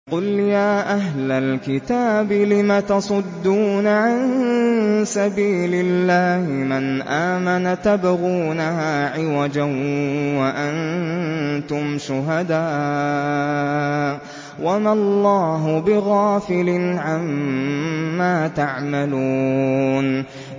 قُلْ يَا أَهْلَ الْكِتَابِ لِمَ تَصُدُّونَ عَن سَبِيلِ اللَّهِ مَنْ آمَنَ تَبْغُونَهَا عِوَجًا وَأَنتُمْ شُهَدَاءُ ۗ وَمَا اللَّهُ بِغَافِلٍ عَمَّا تَعْمَلُونَ